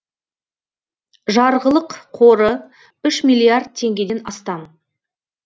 жарғылық қоры үш миллиард теңгеден астам